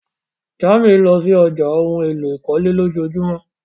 Jamie lọ sí ọ̀já ohun èlò ìkọ́lé lọjọjumọ.